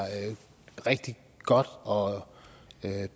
rigtig godt og